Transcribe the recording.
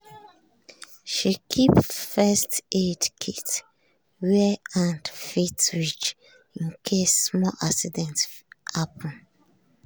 she keep first-aid kit where hand fit reach in case small accident happen.